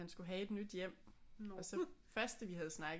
Han skulle have et nyt hjem og så først da vi havde snakket